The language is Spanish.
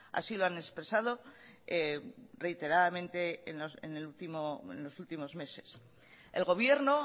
así lo han expresado reiteradamente en los últimos meses el gobierno